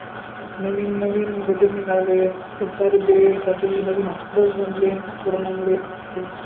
नवीन नवीन budget निघाले खूप सारे bed साठी नवीन hospitals बनले corona मुडे